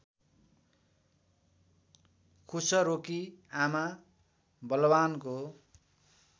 खुसरोकी आमा बलवानको